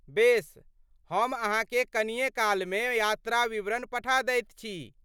बेस, हम अहाँके कनिए कालमे यात्रा विवरण पठा दैत छी।